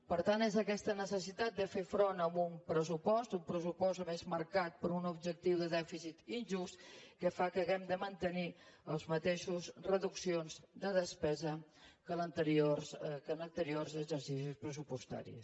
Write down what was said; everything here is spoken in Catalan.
per tant és aquesta necessitat de fer front amb un pressupost un pressupost a més marcat per un objectiu de dèficit injust que fa que hàgim de mantenir les mateixes reduccions de despesa que en anteriors exercicis pressupostaris